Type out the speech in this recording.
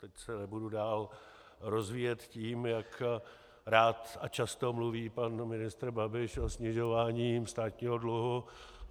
Teď se nebudu dál rozvíjet tím, jak rád a často mluví pan ministr Babiš o snižování státního dluhu.